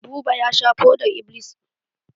Buba ya sha fodar-iblis.